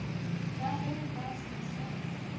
ka ge ba se sa